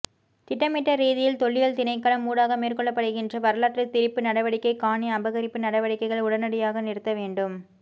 திட்மிட்ட ரதீதியில் தொல்லியல் திணைக்களம் ஊடாக மேற்கொள்ளப்படுகின்ற வரலாற்று திரிப்பு நடவடிக்கை காணி அபகரிப்பு நடவடிக்கைகள் உடனடியாக நிறுத்தவேண்டும்